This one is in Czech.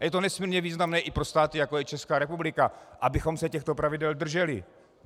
A je to nesmírně významné i pro státy, jako je Česká republika, abychom se těchto pravidel drželi.